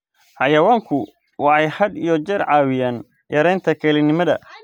Xayawaanku waxay had iyo jeer caawiyaan yaraynta kelinimada.